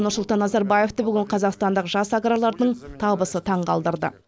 нұрсұлтан назарбаевты бүгін қазақстандық жас аграрлардың табысы таңқалдырды